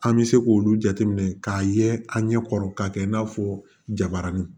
An bɛ se k'olu jateminɛ k'a ye an ɲɛ kɔrɔ k'a kɛ i n'a fɔ jabarani